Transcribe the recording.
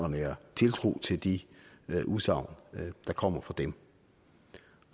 nære tiltro til de udsagn der kommer fra dem